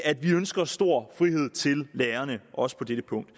at vi ønsker stor frihed til lærerne også på dette punkt